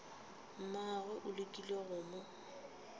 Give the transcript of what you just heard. mmagwe o lekile go mo